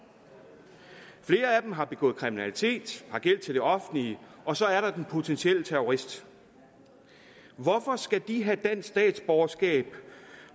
flere af dem har begået kriminalitet og har gæld til det offentlige og så er der den potentielle terrorist hvorfor skal de have dansk statsborgerskab